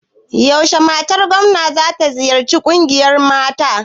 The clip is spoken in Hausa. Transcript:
Yaushe matar gomna za ta ziyarci ƙungiyar mata?